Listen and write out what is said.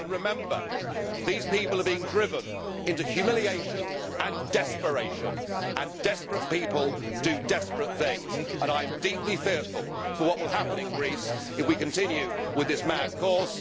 And remember, these people are being driven into humiliation and desperation. Desperate people do desperate things, and I am deeply fearful for what will happen in Greece if we continue with this mad course.